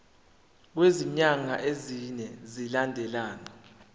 kwezinyanga ezine zilandelana